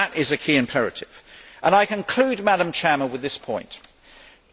That is a key imperative. I conclude with this point